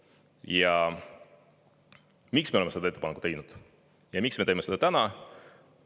Ja miks me oleme selle ettepaneku teinud ja miks me teeme selle täna?